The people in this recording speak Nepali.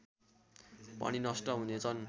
पनि नष्ट हुनेछन्